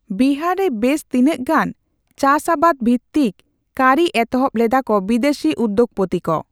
ᱵᱤᱦᱟᱨ ᱨᱮ ᱵᱮᱥ ᱛᱤᱱᱟᱹᱜ ᱜᱟᱱ ᱪᱟᱥ ᱟᱵᱟᱫ ᱵᱷᱤᱛᱛᱤᱠ ᱠᱟᱹᱨᱤ ᱮᱛᱦᱚᱵ ᱞᱮᱫᱟ ᱠᱚ ᱵᱤᱫᱮᱥᱤ ᱩᱫᱫᱳᱜᱯᱚᱛᱤ ᱠᱚ ᱾